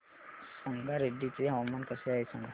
संगारेड्डी चे हवामान कसे आहे सांगा